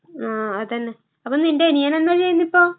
ആഹ് അതന്നെ. അപ്പ നിന്റനിയനെന്താ ചെയ്യണിപ്പോ?